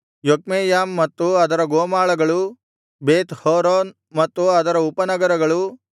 Jokmeam ಮತ್ತು ಅದರ ಗೋಮಾಳಗಳು ಬೇತ್ ಹೋರೋನ್ ಮತ್ತು ಅದರ ಉಪನಗರಗಳು